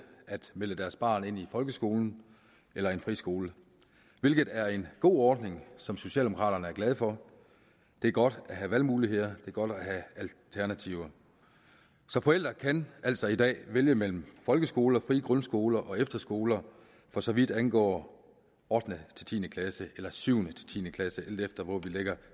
at melde deres barn ind i folkeskolen eller en friskole hvilket er en god ordning som socialdemokraterne er glade for det er godt at have valgmuligheder er godt at have alternativer så forældre kan altså i dag vælge mellem folkeskoler frie grundskoler og efterskoler for så vidt angår ottende ti klasse eller syvende ti klasse alt efter hvor vi lægger